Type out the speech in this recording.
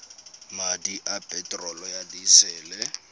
madi a peterolo ya disele